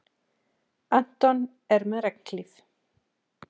Anton með regnhlíf.